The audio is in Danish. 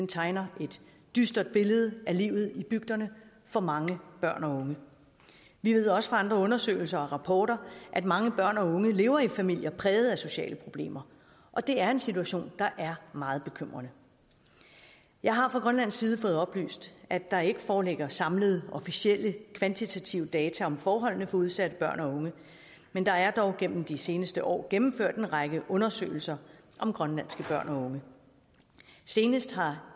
tegner et dystert billede af livet i bygderne for mange børn og unge vi ved også fra andre undersøgelser og rapporter at mange børn og unge lever i familier præget af sociale problemer og det er en situation der er meget bekymrende jeg har fra grønlandsk side fået oplyst at der ikke foreligger samlede officielle kvantitative data om forholdene for udsatte børn og unge men der er dog gennem de seneset år gennemført en række undersøgelser om grønlandske børn og unge senest har